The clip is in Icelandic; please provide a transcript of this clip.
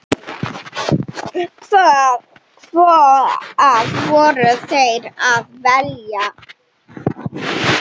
Hvað voru þeir að vilja?